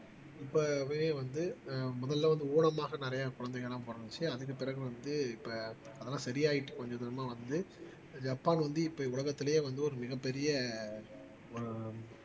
இப்பவே வந்து ஆஹ் முதல்ல வந்து ஊனமாக நிறைய குழந்தைங்க எல்லாம் பிறந்துச்சு அதுக்குப் பிறகு வந்து இப்ப அதெல்லாம் சரியாயிட்டு கொஞ்சம் கொஞ்சமா வந்து ஜப்பான் வந்து இப்ப உலகத்திலேயே வந்து ஒரு மிகப்பெரிய ஆஹ்